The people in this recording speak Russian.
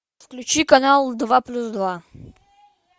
включи канал два плюс два